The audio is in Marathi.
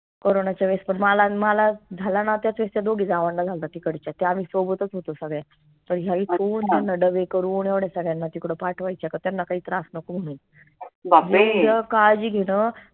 corona च्या वेळेस पन माला न माला झाला ना त्याच वेळेस त्या दोघी जावांना झाल्ता तिकडच्या ते आम्ही सोबतच होतो सगळे तर डब्बे करून येवढ्या सगळ्यांना तिकडं पाठवायच्या का त्यांना काही त्रास नको म्हनून काळजी घेन